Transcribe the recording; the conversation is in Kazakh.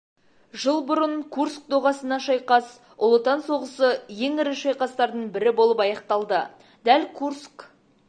жыл бұрын курск доғасына шайқас ұлы отан соғысы ең ірі шайқастардың бірі болып аяқталды дәл курск